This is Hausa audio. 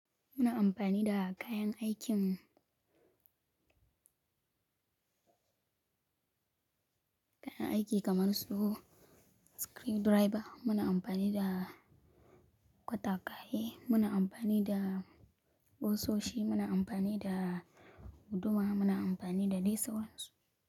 Muna amfani da kayan aikin, kayan aiki kamar su screwdriver, muna amfani da katakai, muna amfani da ƙusoshi, muna amfani da guduma, muna amfani da dai sauransu.